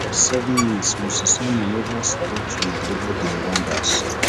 forty-seven mins moses simon neva stop tu dey dribble di rwandans